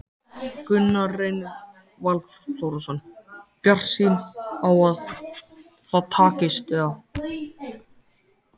Gunnar Reynir Valþórsson: Bjartsýn á að það takist, eða?